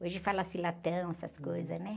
Hoje fala-se latão, essas coisas, né?